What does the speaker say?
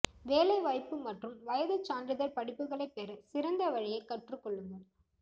வேலைவாய்ப்பு மற்றும் வயது சான்றிதழ் படிப்புகளைப் பெற சிறந்த வழியைக் கற்றுக் கொள்ளுங்கள்